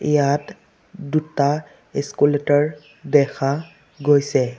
ইয়াত দুটা ইস্কুলেটৰ দেখা গৈছে।